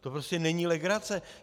To prostě není legrace.